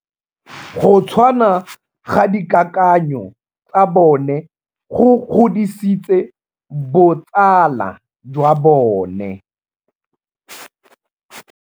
Go tshwana ga dikakanyô tsa bone go godisitse botsala jwa bone.